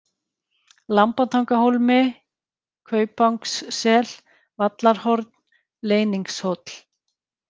Lambatangahólmi, Kaupangssel, Vallarhorn, Leyningshóll